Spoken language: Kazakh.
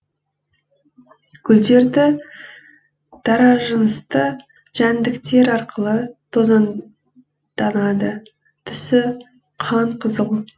гүлдері даражынысты жәндіктер арқылы тозаңданады түсі қанқызыл